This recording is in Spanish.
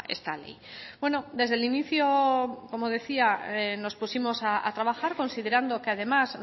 esta ley bueno desde el inicio como decía nos pusimos a trabajar considerando que además